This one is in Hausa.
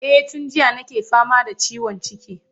Eh tun jiya nake fama da ciwon ciki.